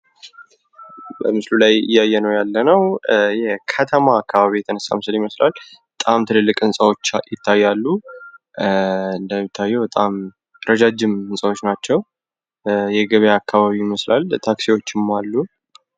በምስሉ ላይ እያየንው ያለንው ከተማ አካባቢ የተነሳ ምስል ይመስላል። በጣም ትላልቅ ህንጻዎች ይታያሉ። እንደሚታየው በጣም ረጃጅም ህንጻዎች ናቸው። የገበያ አካባቢም ይመስላል። ታክሲዎችም አሉ።